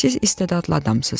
Siz istedadlı adamsınız,